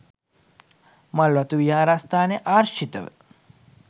මල්වතු විහාරස්ථානය ආශි්‍රතව